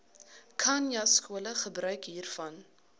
khanyaskole gebruik hiervan